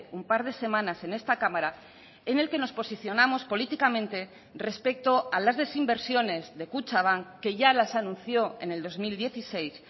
un par de semanas en esta cámara en el que nos posicionamos políticamente respecto a las desinversiones de kutxabank que ya las anunció en el dos mil dieciséis